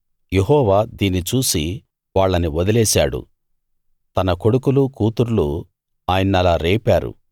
యెహోవా దీన్ని చూసి వాళ్ళని వదిలేశాడు తన కొడుకులూ కూతుర్లూ ఆయన్నలా రేపారు